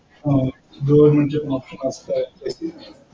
अह government चेच